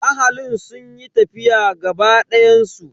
Ahalin sun yi tafiya gaba dayan su.